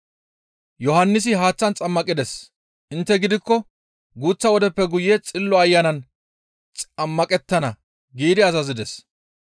Yohannisi haaththan xammaqides; intte gidikko guuththa wodeppe guye Xillo Ayanan xammaqettana» giidi yootides.